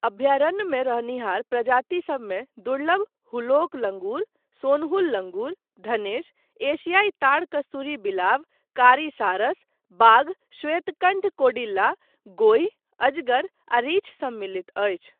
अभ्यारण्यमे रहनिहार प्रजातिसबमे दुर्लभ हुलॉक लंगूर, सोनहुल लंगूर, धनेश, एशियाई ताड़ कस्तूरी बिलाव, कारी सारस, बाघ, श्वेतकण्ठ कौड़िल्ला, गोहि, अजगर आ रीछ सम्मलित अछि।